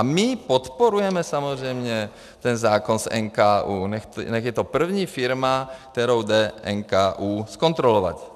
A my podporujeme samozřejmě ten zákon s NKÚ, nechť je to první firma, kterou jde NKÚ zkontrolovat.